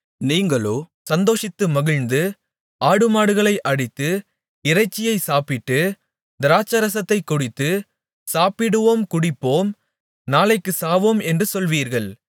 நீங்களோ சந்தோஷித்து மகிழ்ந்து ஆடுமாடுகளை அடித்து இறைச்சியைச் சாப்பிட்டு திராட்சைரசத்தைக் குடித்து சாப்பிடுவோம் குடிப்போம் நாளைக்குச் சாவோம் என்று சொல்வீர்கள்